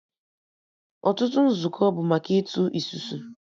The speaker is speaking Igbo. Ọtụtụ nzukọ bụ maka Ịtụ isusu